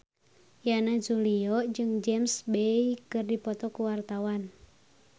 Yana Julio jeung James Bay keur dipoto ku wartawan